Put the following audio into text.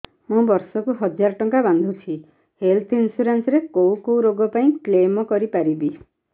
ମୁଁ ବର୍ଷ କୁ ହଜାର ଟଙ୍କା ବାନ୍ଧୁଛି ହେଲ୍ଥ ଇନ୍ସୁରାନ୍ସ ରେ କୋଉ କୋଉ ରୋଗ ପାଇଁ କ୍ଳେମ କରିପାରିବି